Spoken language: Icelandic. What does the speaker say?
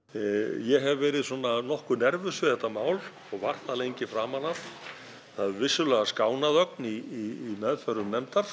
ég hef verið svona nokkuð nervös við þetta mál og var það lengi framan af það hefur vissulega skánað ögn í meðförum nefndar